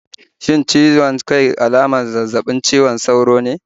Shin ciwon kai alamar zazzabin cizon sauro ne?